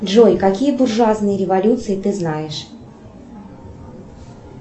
джой какие буржуазные революции ты знаешь